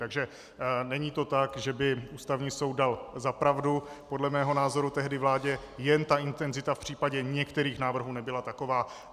Takže není to tak, že by Ústavní soud dal za pravdu podle mého názoru tehdy vládě, jen ta intenzita v případě některých návrhů nebyla taková.